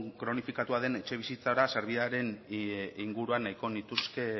kronifikatua den etxebizitzara sarbidearen inguruan nahiko nituzke